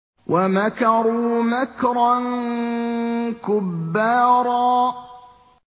وَمَكَرُوا مَكْرًا كُبَّارًا